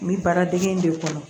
N bɛ baaradege in de kɔnɔ